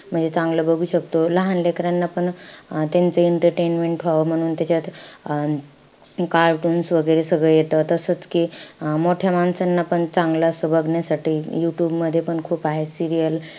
म्हणजे चांगलं बघू शकतो. लहान लेकरांना पण अं त्यांचं entertainment व्हावं म्हणून त्याच्यात अं cartoons वैगेरे सगळं येत. तसंच कि अं मोठ्या माणसांना पण चांगलं असं बघण्यासाठी you tube मध्ये पण खूप आहे serials,